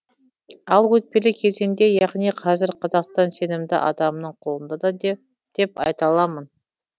ал өтпелі кезеңде яғни қазір қазақстан сенімді адамның қолында деп айта аламын